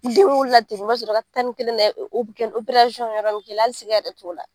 Denwolo la ten o bɛkɛ ni wɛrɛ bɛ k'i la hali siga yɛrɛ t'o la